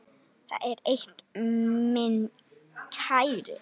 Það er eitt, minn kæri.